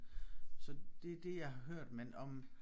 Så det er det jeg har hørt men om